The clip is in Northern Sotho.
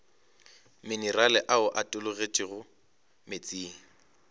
minerale ao a tologetšego meetseng